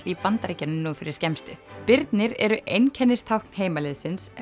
í Bandaríkjunum nú fyrir skemmstu birnir eru einkennistákn heimaliðsins